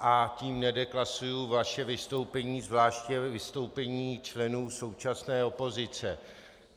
a tím nedeklasuji vaše vystoupení, zvláště vystoupení členů současné opozice.